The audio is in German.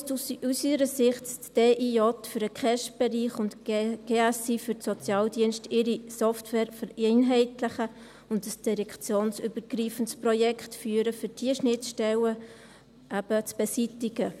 So müsste aus unserer Sicht die DIJ für den KESB-Bereich und die GSI für den Sozialdienst ihre Software vereinheitlichen und ein direktionsübergreifendes Projekt führen, um eben diese Schnittstellen zu beseitigen.